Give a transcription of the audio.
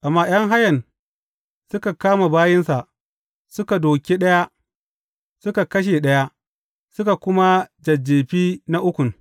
Amma ’yan hayan suka kama bayinsa; suka dūke ɗaya, suka kashe ɗaya, suka kuma jajjefi na ukun.